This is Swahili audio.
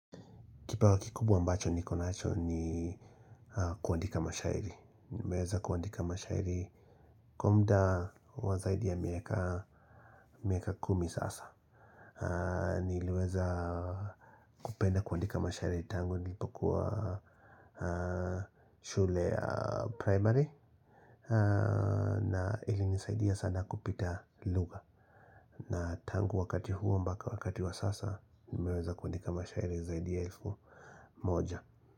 Kipawa kikubwa mbacho niko nacho ni kuandika mashairi. Nimeweza kuandika mashairi kwa muda wa zaidi ya miaka kumi sasa. Niliweza kupenda kuandika mashairi tango nilipokuwa shule ya primary. Na ili nisaidia sana kupita lugha. Na tangu wakati huo mpaka wakati wa sasa nimeweza kuandika mashairi zaidi ya elfu moja.